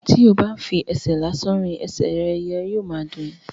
tí o bá n fi ẹsẹ̀ lásán rìn, ẹsẹ̀ yóò ma dùn ẹ́.